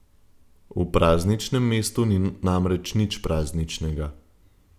V prazničnem mestu ni namreč nič prazničnega.